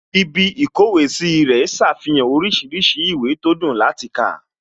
Ibí ìkówèé sí rẹ̀ ṣàfihàn oríṣiríṣi ìwé tó dùn láti kà